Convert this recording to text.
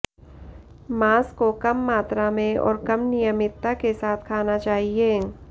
मांस को कम मात्रा में और कम नियमित्ता के साथ खाना चाहिए